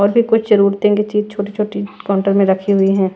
और भी कुछ जरुरतिंग की चीज छोटी-छोटी काउंटर में रखी हुई है।